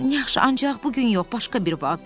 Yaxşı, ancaq bu gün yox, başqa bir vaxt.